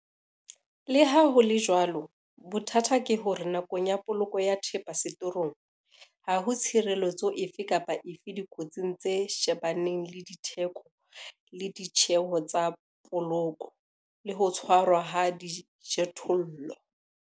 Le ha ho le jwalo, bothata ke hore nakong ya poloko ya thepa setorong, ha ho tshireletso efe kapa efe dikotsing tse shebaneng le ditheko le ditjeho tsa poloko, le ho tshwarwa ha dijothollo.